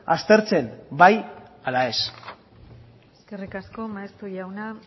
aztertzen bai ala ez eskerrik asko maeztu jauna